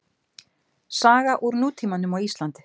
Saga úr nútímanum á Íslandi.